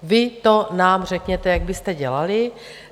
Vy nám to řekněte, jak byste dělali.